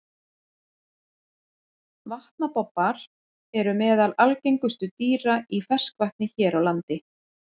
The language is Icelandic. Vatnabobbar eru meðal algengustu dýra í ferskvatni hér á landi.